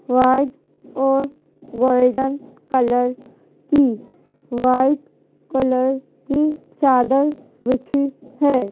White और golden colour की white colour की चादर बिछी है।